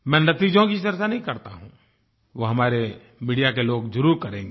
मैं नतीजों की चर्चा नहीं करता हूँ वो हमारे मीडिया के लोग जरूर करेंगे